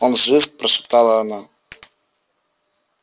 он жив прошептала она